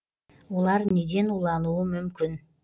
олар неден улануы мүмкін